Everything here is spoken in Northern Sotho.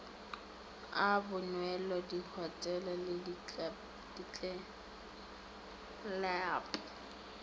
a bonwelo dihotele le ditlelapo